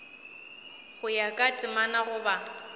go ya ka temana goba